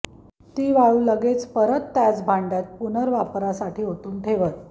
ती वाळू लगेच परत त्याच भांड्यात पुनर्वापरासाठी ओतून ठेवत